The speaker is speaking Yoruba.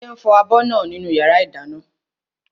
Ṣadé ń fọ abọ́ náà nínú yàrá ìdáná